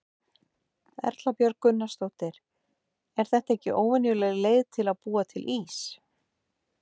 Erla Björg Gunnarsdóttir: Er þetta ekki óvenjuleg leið til þess að búa til ís?